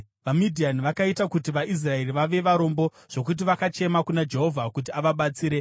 VaMidhiani vakaita kuti vaIsraeri vave varombo zvokuti vakachema kuna Jehovha kuti avabatsire.